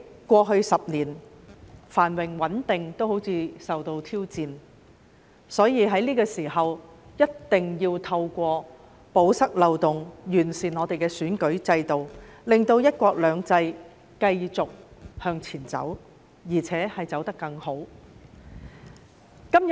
過去10年，香港的繁榮穩定似乎也受到挑戰，所以在這個時候，一定要透過堵塞漏洞，完善我們的選舉制度，令"一國兩制"繼續向前走，而且走得更好。